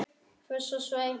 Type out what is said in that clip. Fuss og svei!